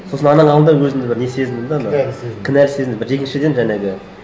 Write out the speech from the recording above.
сосын ананың алдында өзімді бір не сезіндім да ана кінәлі сезініп кінәлі сезіндім бір екіншіден жаңағы